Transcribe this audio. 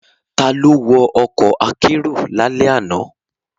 Ta ló wọ ọkọ̀ akérò lálẹ́ àná?